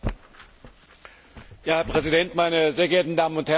Herr Präsident, meine sehr geehrten Damen und Herren, liebe Kolleginnen und Kollegen!